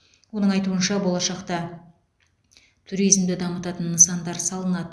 оның айтуынша болашақта туризмды дамытатын нысандар салынады